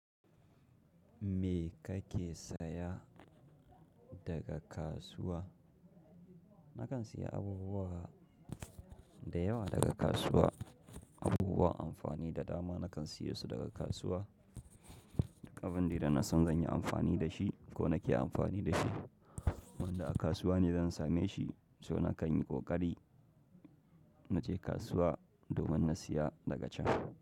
Me kake saya daga kasuwa? Nakan siya abubuwa da yawa daga kasuwa. Abubuwan amfani da dama nakan siyosu daga kasuwa. Abin dai da nasan zan yi amfani da shi ko nake amfani da shi, wanda a kasuwa ne zan same shi, so nakan yi ƙoƙari na je kasuwa domin na siya daga can.